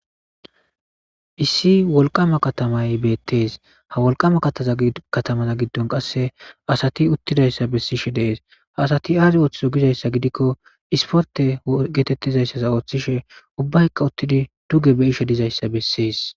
Issi wolqama katamay beettees ha wolqama kattaza katamaza giddon qasse asati uttidayssa bessishe dees ha asati aazi ooththizo gizayssa gidikko isporte geetettizayssas ooththishe ubbayka uttidi duge beishe dizayssa bessees.